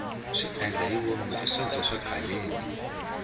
xiendlahivomu i swakudya swa khaleni